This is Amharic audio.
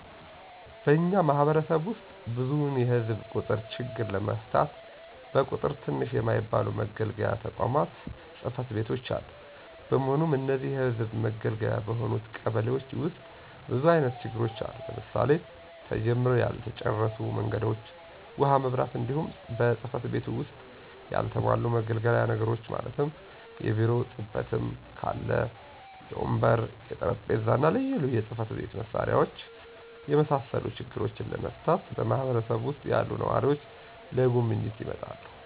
በእኛ ማህበረሰብ ዉስጥ ብዙዉን የህዝብ ቁጥር ችግር ለመፍታት በቁጥር ትንሽ የማይባሉ መገልገያ ተቋማት(ፅ/ቤቶች)አሉ። በመሆኑም እነዚህን የህዝብ መገልገያ በሆኑት ቀበሌዎች ዉስጥ ብዙ አይነት ችግሮች አሉ; ለምሳሌ፦ ተጀምረዉ ያልተጨረሱ መንገዶች፣ ዉሀ፣ መብራት፣ እንዲሁም በፅ/ቤቱ ዉስጥ ያልተሟሉ መገልገያ ነገሮችን ማለትም; የቢሮ ጥበትም ካለ, የወንበር፣ የጠረምጴዛ፣ ልዩ ልዩ የፅ/መሳሪያዎች የመሳሰሉ ችግሮችን ለመፍታት በማህበረሰብ ዉሰጥ ያሉ ነዋሪዎች ለጉብኝት ይመጣሉ።